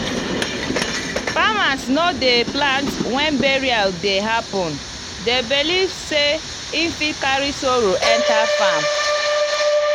farmers no dey plant when burial dey happen dem believe sey e fit carry sorrow enter farm.